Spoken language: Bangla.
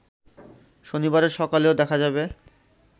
শনিবারের সকালেও দেখা যাবে